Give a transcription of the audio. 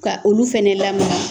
Ka olu fana .